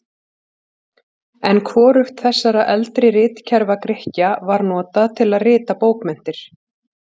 En hvorugt þessara eldri ritkerfa Grikkja var notað til að rita bókmenntir.